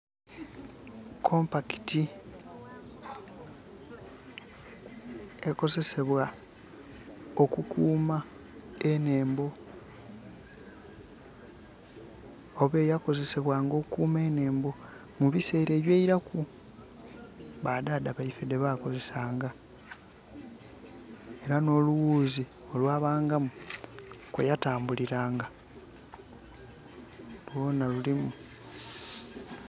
Compact ekozesebwa okukuuma enhembo oba eya kozesebwanga okukuuma enhembo mu biseera eby'eilaku, ba dhaadha baife dhe bakozesaanga. Ela n'olughuuzi olwabangamu kweya tambulilanga lwona lulimu.